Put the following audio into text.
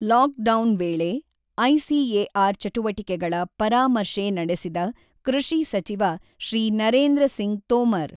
lock down ವೇಳೆ ICAR ಚಟುವಟಿಕೆಗಳ ಪರಾಮರ್ಶೆ ನಡೆಸಿದ ಕೃಷಿ ಸಚಿವ ಶ್ರೀ ನರೇಂದ್ರ ಸಿಂಗ್ ತೋಮರ್